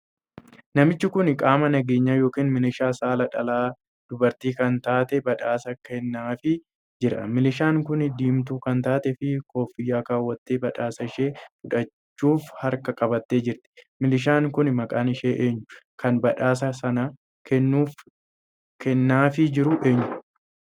Namichu kun qaama nageenyaa yookiin miliishaa saala dhalaa dubartii kan taatee badhaasa kennaafi jira. miliishaan kun diimtuu kan taateef koffiyyaa kaawwattee badhaasa ishee fudhachuuf harkaan qabattee jirti. miliishaan kun maqaan ishee eenyu? kan badhaasa kana kennaafii jiru eenyu